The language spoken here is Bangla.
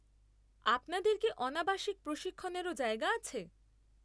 আপনাদের কি অণাবাসিক প্রশিক্ষণেরও জায়গা আছে?